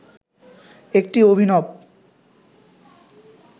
একটি অভিনব